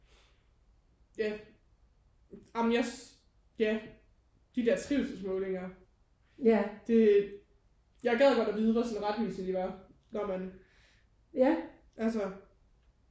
Ja ej men jeg ja de der trivselsmålinger det jeg gad godt at vide hvor sådan retvisende de var da man altså